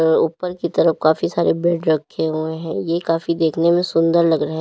ऊपर की तरफ काफी सारे बेड रखे हुए हैं ये काफी देखने में सुंदर लग रहे--